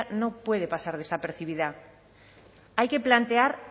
no puede pasar desapercibida hay que plantear